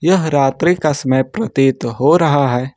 यह रात्रि का समय प्रतीत हो रहा है।